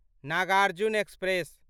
Nagarjun express